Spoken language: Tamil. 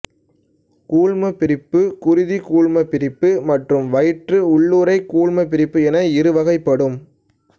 கூழ்மப்பிரிப்பு குருதி கூழ்மப்பிரிப்பு மற்றும் வயிற்று உள்ளுறை கூழ்மப்பிரிப்பு என இருவகைப்படும்